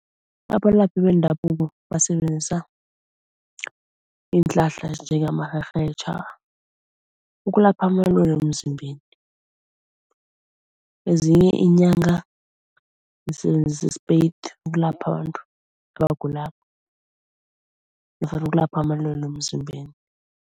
Abalaphi bendabuko basebenzisa iinhlahla ezinjengamarherhetjha ukulapha amalwele wemzimbeni. Ezinye iinyanga zisebenzisa isipeyiti ukulapha abantu abagulako nofana ukulapha amalwele wemizimbeni.